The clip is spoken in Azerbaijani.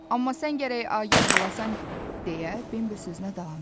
Amma sən gərək agah olasan deyə Bimbi sözünə davam edirdi.